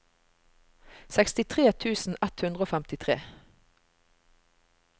sekstitre tusen ett hundre og femtitre